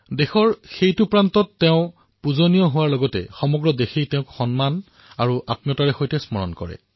দেশৰ সেই অংশত তেওঁ পূজনীয় হোৱাৰ লগতে সমগ্ৰ দেশেও তেওঁৰ বহু সন্মান আৰু আত্মীয়তাৰে সৈতে স্মৰণ কৰে